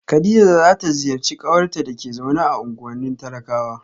kadija za ta ziyarci kawarta da ke zaune a unguwannin talakawa